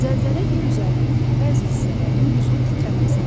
Zəlzələ yer üzərinin bəzi hissələrinin güclü titrəməsidir.